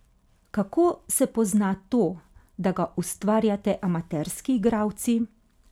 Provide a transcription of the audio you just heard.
Kako se pozna to, da ga ustvarjate amaterski igralci?